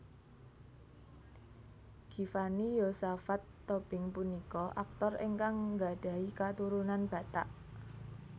Givanni Yosafat Tobing punika aktor ingkang nggadhahi katurunan Batak